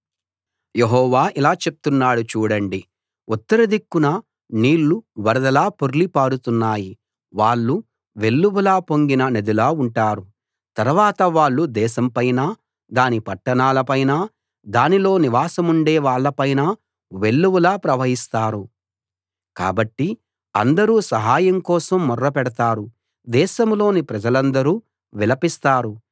యెహోవా ఇలా చెప్తున్నాడు చూడండి ఉత్తర దిక్కున నీళ్ళు వరదలా పొర్లి పారుతున్నాయి వాళ్ళు వెల్లువలా పొంగిన నదిలా ఉంటారు తర్వాత వాళ్ళు దేశం పైనా దాని పట్టణాల పైనా దానిలో నివాసముండే వాళ్ళ పైనా వెల్లువలా ప్రవహిస్తారు కాబట్టి అందరూ సహాయం కోసం మొర్ర పెడతారు దేశంలోని ప్రజలందరూ విలపిస్తారు